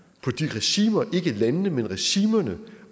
på de regimer ikke landene men regimerne